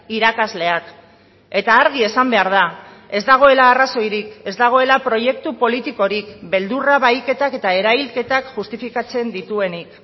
irakasleak eta argi esan behar da ez dagoela arrazoirik ez dagoela proiektu politikorik beldurra bahiketak eta erailketak justifikatzen dituenik